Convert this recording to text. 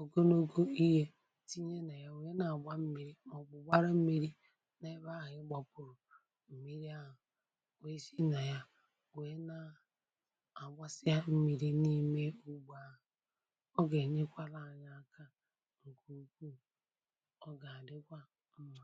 ogologo ihe tinye na ya wee na agba mmiri ma obu gbaharia mmiri n'ebe ahu i gbaburu mmiri ahu wee si n a ya wee na agbasi mmiri n'ime ugbo ahu o ga enyekwala anyi aka nke ukwuu o ga adikwa mma.